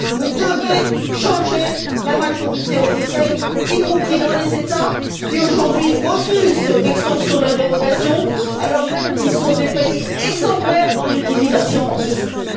Vous devez changer la majorité au Conseil, y compris dans les États qui, aujourd'hui, refusent cette extension de la dérogation, alors même qu'ils sont des pays exemplaires dans l'utilisation de ce fonds.